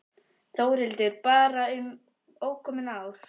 Þórhildur: Bara um ókomin ár?